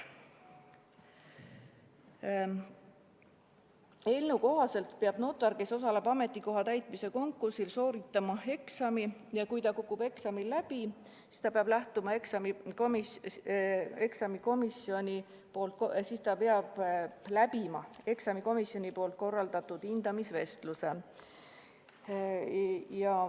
Eelnõu kohaselt peab notar, kes osaleb ametikoha täitmise konkursil, sooritama eksami ja kui ta kukub eksamil läbi, siis ta peab läbima eksamikomisjoni korraldatud hindamisvestluse.